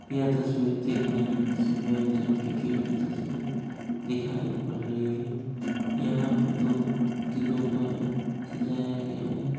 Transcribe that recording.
यह तस्वीर देखने में किसी मेरिज हॉल की गेट की तस्वीर दिखाई पड़ रही हैं यहा पर दो दिलों द्वारा सजाया गया हैं।